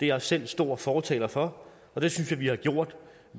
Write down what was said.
jeg selv en stor fortaler for og det synes jeg vi har gjort